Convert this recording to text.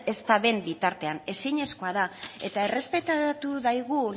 ez daben bitartean ezinezkoa da eta errespetatu daigun